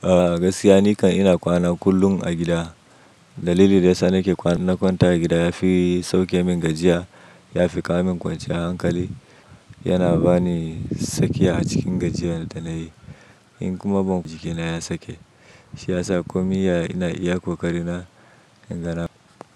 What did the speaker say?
A'a gaskiya ni kan ina kwana kullum a gida. Dalilin da yasa nake kwana, in na kwanta a gida ya fi sauke min gajiya, ya fi ƙawo min kwanciyan hankali, yana bani sakiya a cikin gajiyan da na yi. In kuma ban jikina ya sake, shi ya sa komi ya ina iya kokari na, in gana.